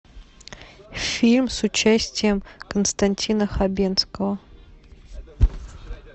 фильм с участием константина хабенского